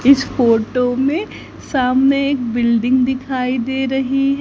इस फोटो में सामने एक बिल्डिंग दिखाई दे रही--